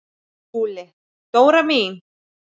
SKÚLI: Dóra mín!